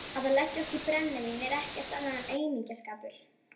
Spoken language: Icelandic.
Að leggjast í brennivín er ekkert annað en aumingjaskapur.